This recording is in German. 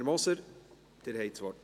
– Werner Moser, Sie haben das Wort.